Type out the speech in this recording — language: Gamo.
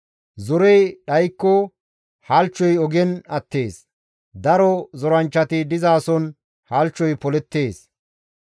Zorey dhaykko halchchoy ogen attees; daro zoranchchati dizason halchchoy polettees.